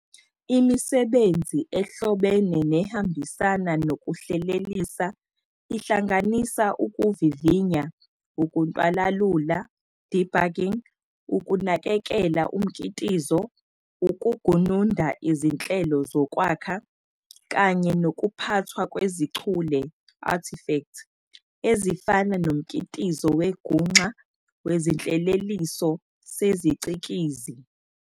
Imisebenzi ehlobene nehambisana nokuhlelelisa ihlanganisa ukuvivinya, ukuntwalalula, debugging, ukunakekela umkitizo, ukugununda izinhlelo zokwakha, kanye nokuphathwa kwezichule, artifact, ezifana nomkitizo wenguxa wezinhleleliso sezicikizi.